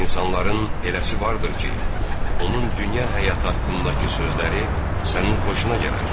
İnsanların eləsi vardır ki, onun dünya həyatı haqqındakı sözləri sənin xoşuna gələr.